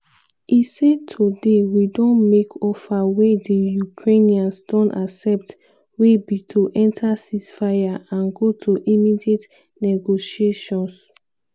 e say "today we don make offer wey di ukrainians don accept wey be to enta ceasefire and go to immediate negotiations."